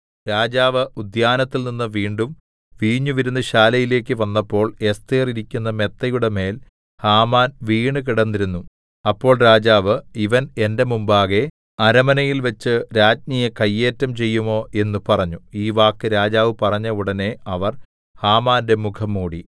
രാജാവ് ഉദ്യാനത്തിൽനിന്ന് വീണ്ടും വീഞ്ഞുവിരുന്നുശാലയിലേക്ക് വന്നപ്പോൾ എസ്ഥേർ ഇരിക്കുന്ന മെത്തയുടെ മേൽ ഹാമാൻ വീണുകിടന്നിരുന്നു അപ്പോൾ രാജാവ് ഇവൻ എന്റെ മുമ്പാകെ അരമനയിൽവച്ച് രാജ്ഞിയെ കയ്യേറ്റം ചെയ്യുമോ എന്ന് പറഞ്ഞു ഈ വാക്ക് രാജാവ് പറഞ്ഞ ഉടനെ അവർ ഹാമാന്റെ മുഖം മൂടി